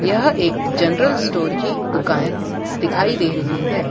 यह एक general store की दुकान दिखाई दे रही है।